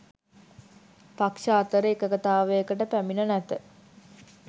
පක්‍ෂ අතර එකඟතාවයකට පැමිණ නැත